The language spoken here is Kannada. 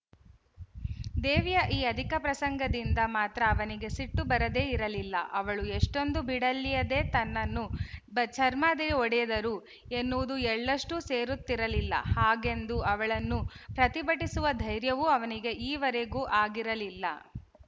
ದೇವಿಯ ಈ ಅಧಿಕಪ್ರಸಂಗದಿಂದ ಮಾತ್ರ ಅವನಿಗೆ ಸಿಟ್ಟು ಬರದೇ ಇರಲಿಲ್ಲ ಅವಳು ಎಷೆ್ಟೂಂದೂ ಭಿಡೆಯಿಲ್ಲದೇ ತನ್ನನ್ನು ಬಚರ್ಮದೆ ಒಡೆದರು ಎನ್ನುವುದು ಎಳ್ಳಷ್ಟೂ ಸೇರುತ್ತಿರಲಿಲ್ಲ ಹಾಗೆಂದು ಅವಳನ್ನು ಪ್ರತಿಭಟಿಸುವ ಧೈರ್ಯವೂ ಅವನಿಗೆ ಈವರೆಗೂ ಆಗಿರಲಿಲ್ಲ